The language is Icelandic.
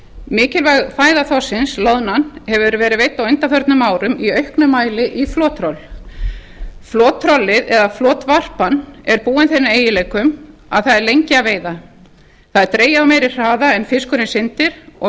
mikilvæg fæða þorsksins loðnan hefur verið veidd á undanförnum árum í auknum mæli í flottroll flottrollið eða flotvarpan er búin þeim eiginleikum að það er lengi að veiða það er dregið á meiri hraða en fiskurinn syndir og